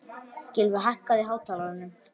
Gylfi, hækkaðu í hátalaranum.